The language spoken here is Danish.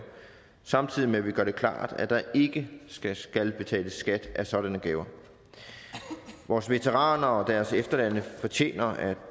samtidig med at vi gør det klart at der ikke skal skal betales skat af sådanne gaver vores veteraner og deres efterladte fortjener at